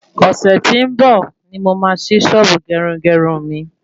Ọ̀sẹ̀ tí ó ń bọ̀ ní mo máa sí sọ́ọ̀bù gerugeru mi